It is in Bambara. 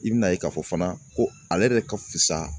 I bi na ye k'a fɔ fana ko ale yɛrɛ ka fisa.